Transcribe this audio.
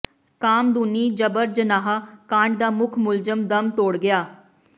ਕਾਮਦੂਨੀ ਜਬਰ ਜਨਾਹ ਕਾਂਡ ਦਾ ਮੁੱਖ ਮੁਲਜ਼ਮ ਦਮ ਤੋੜ ਗਿਆ